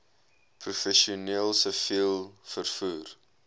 professioneel siviel vervoer